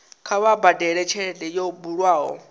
kha vha badele tshelede yo bulwaho